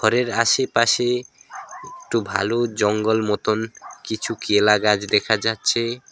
ঘরের আশেপাশে একটু ভালো জঙ্গল মতন কিছু কেলা গাছ দেখা যাচ্ছে।